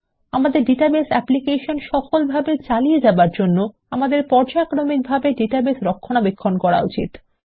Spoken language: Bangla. আমাদের ডাটাবেস অ্যাপ্লিকেশন সফলভাবে চালিয়ে যাবার জন্য আমাদের পর্যায়ক্রমিক ভাবে ডাটাবেস রক্ষণাবেক্ষণ করা উচিত